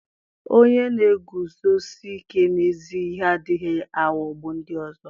onye na-eguzosi ike n'ezi ihe adịghị aghọgbu ndị ọzọ.